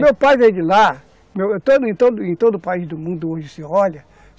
Meu pai veio de lá, em todo em todo em todo o país do mundo onde se olha.